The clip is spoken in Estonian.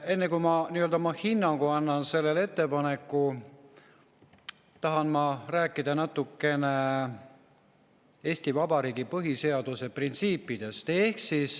Enne kui ma oma hinnangu annan sellele ettepanekule, tahan ma rääkida natukene Eesti Vabariigi põhiseaduse printsiipidest.